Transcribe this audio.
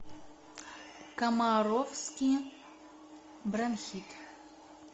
комаровский бронхит